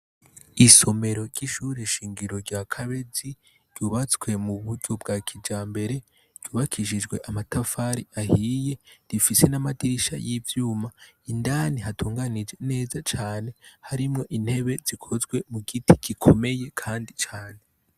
Isomero ry'ishure shingiro rya kabezi ryubatswe m'uburyo bwakijambere ryubakishijwe amatafari ahiye rifise n'amadirisha y'ivyuma. Indani hatunganije neza cane harimwo intebe zikozwe mugiti gikomeye kandi cane.